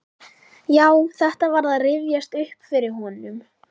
Já, þetta var að rifjast upp fyrir honum.